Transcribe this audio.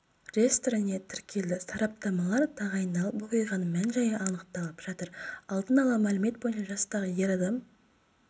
реестріне тіркелді сараптамалар тағайындалып оқиғаның мән-жайы анықталып жатыр алдын ала мәлімет бойынша жастағы ер адам